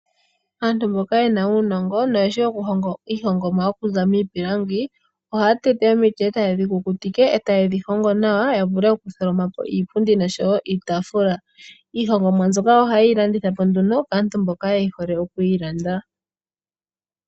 Aantu mboka yena uunongo no yeshi okuhonga iihongomwa tayi zi miipilangi, ohaya tete omiti eta yedhikukutike nokudhihonga nawa yavule okundulukapo iipundi osho woo iitaafula. Iihongomwa mbyoka ohaye yi landitha po nduno kaantu mboka yehole oku yi landa.